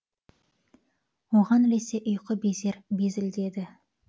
оған ілесе ұйқы безер безілдеді